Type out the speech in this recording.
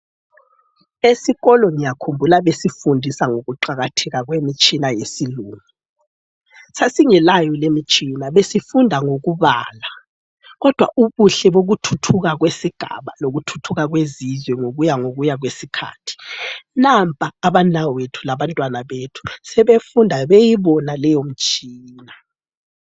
Esikolo ngiyakhumbula besifundisa ngokuqakatheka kwemitshina yesilungu. Sasingelayo lemitshina besifunda ngokubala kodwa ubuhle bokuthuthuka kwesigaba lokuthuthuka kwezizwe ngokuya ngokuya kwesikhathi, nampa abanawethu labantwana bethu sebefunda beyibona leyomtshina.